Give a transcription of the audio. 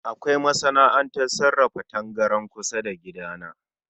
Kawai masana'antar sarrafa tangaran kusa da gida na